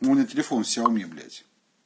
но у меня телефон сяоми блять